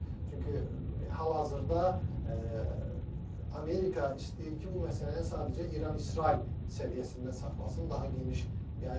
Çünki hal-hazırda Amerika istəyir ki, bu məsələni sadəcə İran-İsrail səviyyəsində saxlasın, daha geniş yayılmasın.